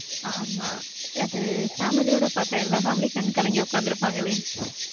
ஆமா, அது family ஓட பாத்தா எல்லா family யும் கண் கலங்கி உக்காந்துருப்பாங்களே .